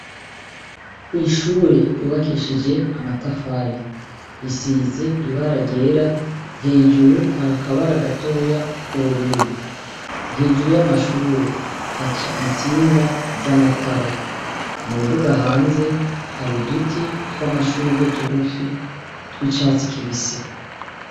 Kw'ishure ryubakishije amatafari, risize ibara ryera, hejuru hari akabara gatoya k'ubururu. Hejuru y'amashure haca intsinga z'amatara. Mu mbuga hanze hari uduti tw'amashurwe dugufi tw'icatsi kibisi.